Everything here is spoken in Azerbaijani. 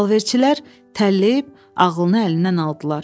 Alverçilər təlləyib ağlını əlindən aldılar.